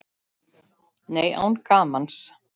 Nei, án gamans.